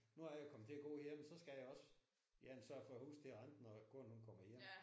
Nu er jeg kommet til at gå ind så skal jeg også igen sørge for at huset det er rent når konen hun kommer hjem